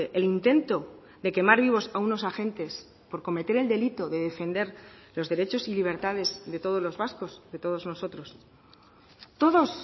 el intento de quemar vivos a unos agentes por cometer el delito de defender los derechos y libertades de todos los vascos de todos nosotros todos